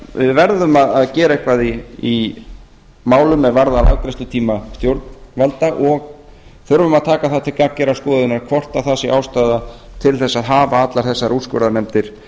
við verðum að gera eitthvað í málum er varða afgreiðslutíma stjórnvalda og þurfum að taka það til gagngerrar skoðunar hvort það sé ástæða til þess að hafa allar þessar úrskurðarnefndir